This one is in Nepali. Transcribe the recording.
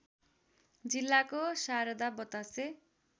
जिल्लाको शारदा बतासे